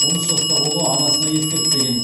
он үш жастағы ұлы анасына ескертпеген